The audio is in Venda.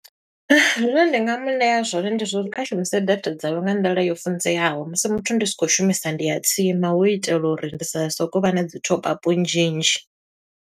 Zwine ndi nga mu ṋea zwone ndi zwa uri kha shumise data dzawe nga nḓila yo funzeaho musi muthu ndi si khou shumisa ndi ya tsima. Hu itela uri ndi sa soko u vha na dzi top up nnzhi nnzhi.